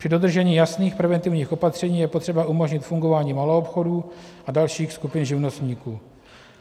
Při dodržení jasných preventivních opatření je potřeba umožnit fungování maloobchodů a dalších skupin živnostníků.